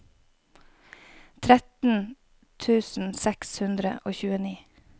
tretten tusen seks hundre og tjueni